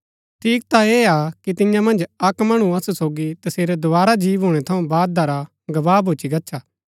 ठीक ता ऐह हा कि तियां मन्ज अक्क मणु असु सोगी तसेरै दोवारा जी भूणै थऊँ बादा रा गवाह भूच्ची गच्छा